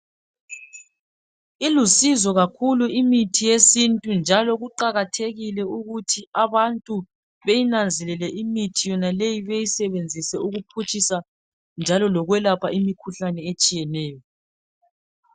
Ilusizo kakhulu imithi yesintu njalo kuqakathekile ukuthi abantu beyinanzelele imithi yonaleyi beyisebenzise ukuphutshisa njalo lokwelapha imikhuhlane etshiyeneyo.